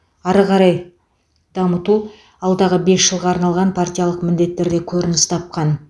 ары қарай дамыту алдағы бес жылға арналған партиялық міндеттерде көрініс тапқан